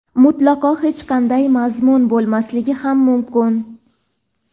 mutlaqo hech qanaqa mazmun bo‘lmasligi ham mumkin.